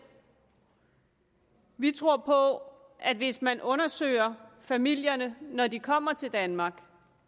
vi tror på at hvis man undersøger familierne når de kommer til danmark